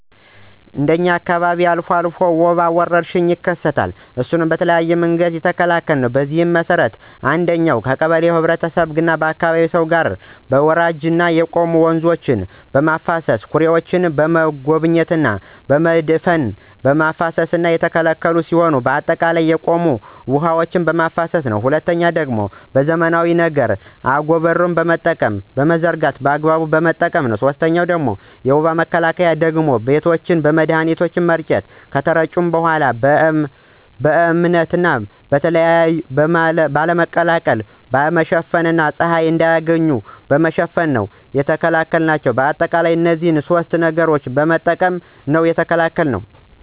እንደ እኛ አካባቢ ወባ አልፎ አልፎ ወረርሽኝ ይከሰታል እሱንም በተለያየ መንገድ ነው የተከላከልነው። በዚህ መሰረት አንደኛ እንደ ቀበሌ ከህብረተሰቡና ከአካባቢው ሰው ጋር መነጋገር ወራጅና የቆሙ ወንዞችን በማፋሰስና ኩሬዎችን በመጎብኘት በመድፈንና በማፋሰስ የተከላከልን ሲሆን በአጠቃላይ የቆሙ ውሐዎችን ማፋሰስ ነው። ሁለተኛው ደግሞ በዘመናዊ ነገር አጎበርን በመጠቀምና በመዘርጋት በአግባቡ በመጠቀም። ሶስተኛው የወባ መከላከያ ደግሞ ቤቶችን መድሀኒት በመርጨት ነው ከተረጩ በኋላ በእበት ባለመለቅለቅ፣ ባለመሸፈን እና ፀሀይ እንዳያገኛቸው በመሸፈን ነው የተከላከልናቸው። በአጠቃላይ እነዚህን ሶስት ነገሮችን በመጠቀም ነው የተከላከልነው።